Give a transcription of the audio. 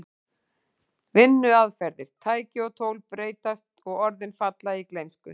Vinnuaðferðir, tæki og tól breytast og orðin falla í gleymsku.